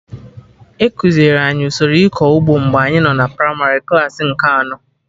Ekuziri anyị usoro ịkọ ụgbọ mgbe anyị nọ na primarị klaasị nke anọ